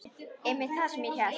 Einmitt það sem ég hélt.